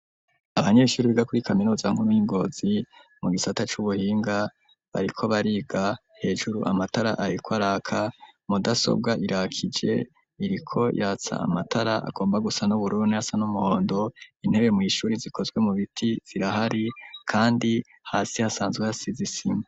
Anyeshuri biga kuri kaminuza nkuru yi Ngozi mu gisata cu buhinga bariko bariga hejuru amatara ariko araka mudasobwa irakije iriko yatsa amatara agomba gusa n'uburuni asa n'umuhondo intebe mu ishuri zikozwe mu biti zirahari kandi hasi hasanzwe hasize isima.